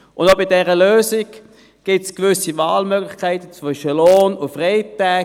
Und bei dieser Lösung gibt es gewisse Wahlmöglichkeiten zwischen Lohn und Freitagen.